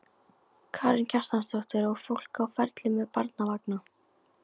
Karen Kjartansdóttir: Og fólk á ferli með barnavagna?